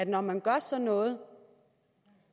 når man gør sådan noget